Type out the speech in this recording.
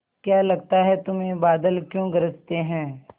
क्या लगता है तुम्हें बादल क्यों गरजते हैं